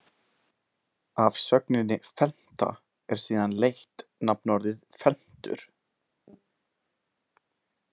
Af sögninni felmta er síðan leitt nafnorðið felmtur.